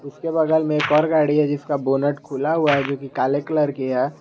उसके बगल में एक और गाड़ी है जिसका बोनट खुला हुआ है जो कि काले कलर कि है।